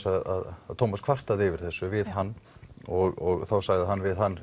að Thomas kvartaði yfir þessu við hann og þá sagði hann við hann